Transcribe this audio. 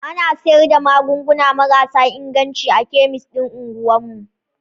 Ana sayar da magunguna marasa inganci a kemis din unguwar mu.